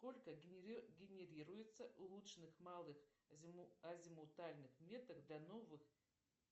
сколько генерируется улучшенных малых азимутальных меток для новых